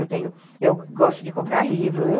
Eu gosto de comprar livro, eu...